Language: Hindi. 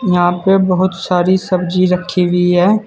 यहां पे बहोत सारी सब्जी रखी हुई है।